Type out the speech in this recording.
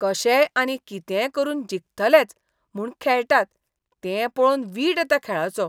कशेय आनी कितेंय करून जिखतलेच म्हूण खेळटात तें पळोवन वीट येता खेळाचो.